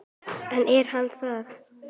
En er hann það?